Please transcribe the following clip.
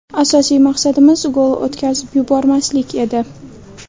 Asosiy maqsadimiz gol o‘tkazib yubormaslik edi.